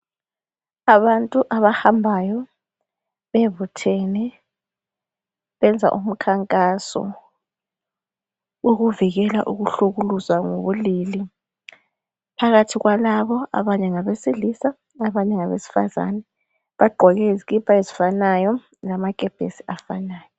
Abantu abahambayo bebuthene benza umkhankaso wokuvikela ukuhlukuluzwa ngobulili phakathi kwalabo abanye ngabesilisa abanye ngabesifazana bagqoke izikipa ezifanayo lamakepesi afanayo.